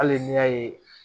Hali n'i y'a ye